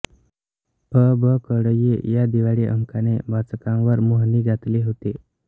अबकडई या दिवाळी अंकाने वाचकांवर मोहिनी घातली होती